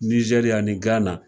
Nizɛri ani gana